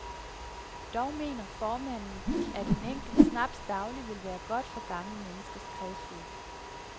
Dog mener formanden, at en enkelt snaps daglig vil være godt for gamle menneskers kredsløb.